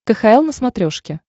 кхл на смотрешке